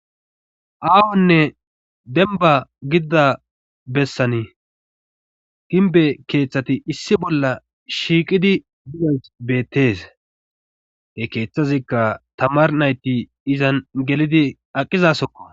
Ahone demba gidida bessani ginbe keeththati issi bolla shiiqidi dizaysi betes he keeththazikka tamar nayti izan gelidi aqqizasokko.